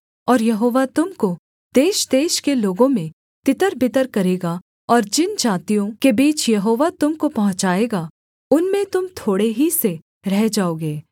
और यहोवा तुम को देशदेश के लोगों में तितरबितर करेगा और जिन जातियों के बीच यहोवा तुम को पहुँचाएगा उनमें तुम थोड़े ही से रह जाओगे